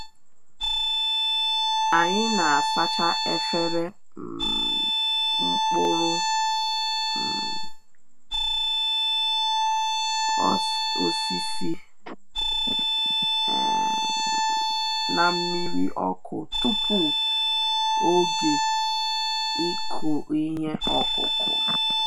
Anyị na-asacha efere um mkpụrụ um osisi um na nmiri ọkụ tupu tupu oge ịkụ ihe ọkụkụ